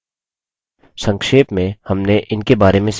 संक्षेप में हमने इनके बारे में सीखा हैः